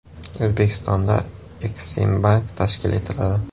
O‘zbekistonda Eksimbank tashkil etiladi.